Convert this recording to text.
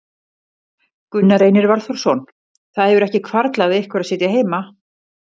Gunnar Reynir Valþórsson: Það hefur ekki hvarflað að ykkur að sitja heima?